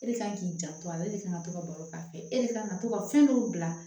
E de kan k'i janto a la ale de kan ka to ka baro k'a fɛ e de kan ka to ka fɛn dɔw bila